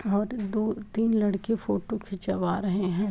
और दो-तीन लड़के फोटो खिचवा रहे हैं।